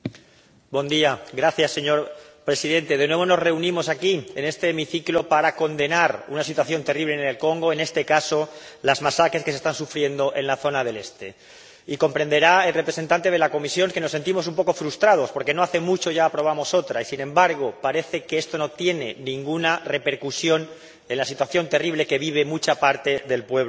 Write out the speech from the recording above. Señor Presidente, de nuevo nos reunimos aquí, en este hemiciclo, para condenar una situación terrible en el Congo —en este caso, las masacres que se están sufriendo en la zona del este— y comprenderá el representante de la Comisión que nos sentimos un poco frustrados, porque no hace mucho ya aprobamos otra y, sin embargo, parece que esto no tiene ninguna repercusión en la situación terrible que vive una gran parte del pueblo del Congo.